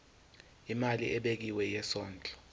imali ebekiwe yesondlo